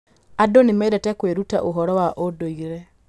Andũ nĩ mendete kwĩruta ũhoro wa ũndũire.